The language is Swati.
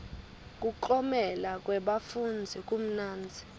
kuklomela kwebafundzi kumnanzi